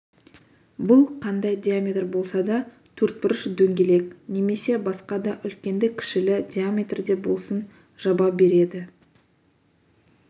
бұл қандай диаметр болса да төртбұрыш дөңгелек немесе басқа да үлкенді-кішілі диаметрде болсын жаба береді